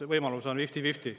Võimalus on fifty-fifty.